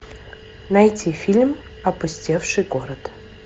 найти фильм опустевший город